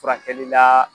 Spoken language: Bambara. Furakɛli la